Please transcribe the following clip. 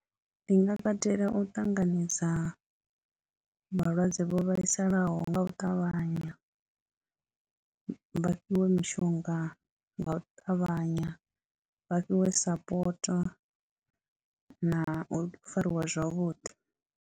Ndi nga katela u ṱanganedza vhalwadze vho vhaisalaho nga u ṱavhanya, vha fhiwe mishonga nga u ṱavhanya, vha fhiwe support na u fariwa zwavhuḓi.